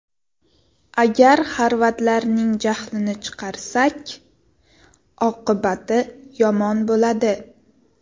Agar xorvatlarning jahlini chiqarsak, oqibati yomon bo‘ladi.